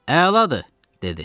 Əladır, dedi.